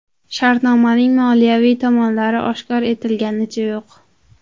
Shartnomaning moliyaviy tomonlari oshkor etliganicha yo‘q.